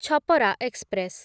Chhapra express